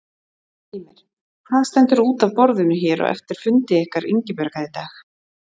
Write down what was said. Heimir: Hvað stendur út af borðinu hér eftir fundi ykkar Ingibjargar í dag?